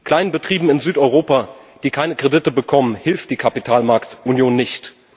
Kleinbetrieben in Südeuropa, die keine Kredite bekommen, hilft die Kapitalmarktunion nicht.